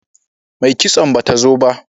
Mai kitson ba ta zo ba